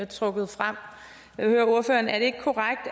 trukket frem jeg vil høre ordføreren er det ikke korrekt